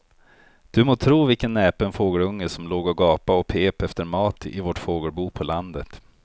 Du må tro vilken näpen fågelunge som låg och gapade och pep efter mat i vårt fågelbo på landet.